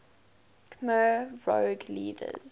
khmer rouge leaders